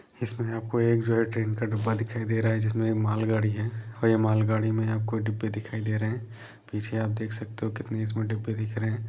इसमें आपको एक जो है ट्रेन का डब्बा दिखाई दे रहा है जिसमें ये माल गाड़ी है और ये माल गाड़ी में आपको डिब्बे दिखाई दे रहे हैं। पीछे आप देख सकते हो कितने इसमें डिब्बे दिख रहे हैं।